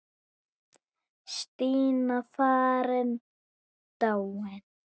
Stína farin, dáin.